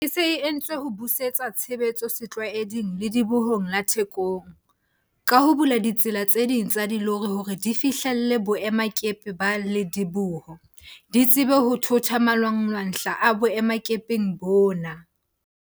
Tswelopele e se e entswe ho busetsa tshebetso setlwaeding Ledibohong la Thekong, ka ho bula ditsela tse ding tsa dilori hore di fihlelle boemakepe ba lediboho, di tsebe ho thotha malwanglwahla a boemakepeng bona.